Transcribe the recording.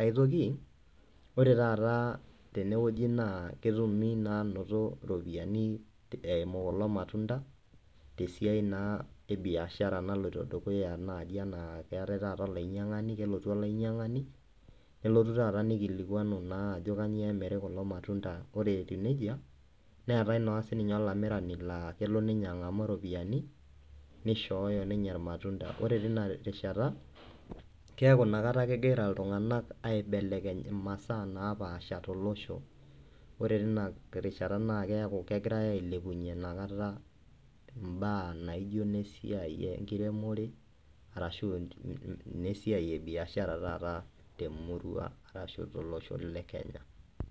ae toki ore taata tene wueji naa, kidim naa anoto iropiyani eimu kulo matunda tesiai naa, ebiashara naloito dukuya enaa naji keetae taata olainyiangani , kelotu olainyiangani nelotu taata nikilikuanu naa ajo kainyioo emiri kulo matunda . Ore etiu nejia neetae naa sininye olamirani naa kelo ninye angaamu iropiyani neishoo ninye irmatunda. Ore teina rishata keaku ina kat iltunganak aibelekeny imasaa naapasha tolosho. Ore tina rishata naa keaku kegirae ailepunyie inakata imbaa naijo nesiai ekiremore arashu , nesiai ebiashara taata temurua arashu, tolosho le Kenya.